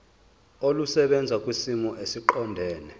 olusebenza kwisimo esiqondena